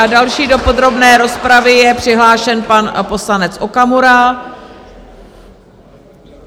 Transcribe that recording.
A další do podrobné rozpravy je přihlášen pan poslanec Okamura.